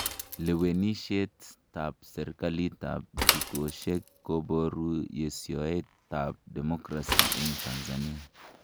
Lewenishet ab sirkalit tab dukoshek koboru yesioet tab democracy eng Tanzania.